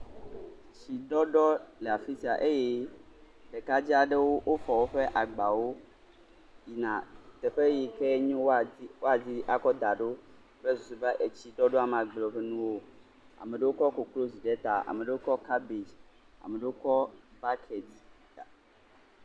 Etsi ɖɔɖɔ le afisia eye ɖeka dzɛ aɖewo fɔ woƒe agbawo yina teƒe yike nyo woa di ako da ɖo kple susu be etsi ma gble woƒe nu o. Ame aɖe kɔ koklozi ɖe ta. Ame aɖewo kɔ kabbage, ame aɖewo kɔ buuket.